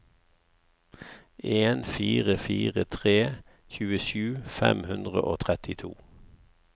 en fire fire tre tjuesju fem hundre og trettito